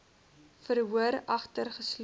verhoor agter geslote